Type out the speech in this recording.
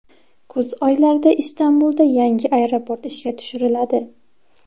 Kuz oylarida Istanbulda yangi aeroport ishga tushiriladi.